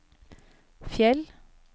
Fjell